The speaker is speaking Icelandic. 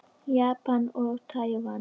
Japan og Tævan.